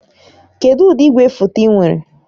Kedụ ụdị igwefoto ị nwere?